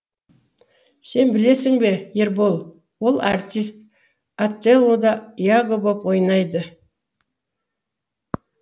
сен білесің бе ербол ол артист отеллода яго боп ойнайды